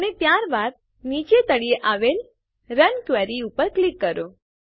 અને ત્યારબાદ નીચે તળિયે આવેલ રન ક્વેરી ઉપર ક્લિક કરો